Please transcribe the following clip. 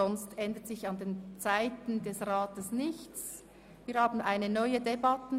Sonst ändert sich an den Zeiten der Ratssitzungen nichts.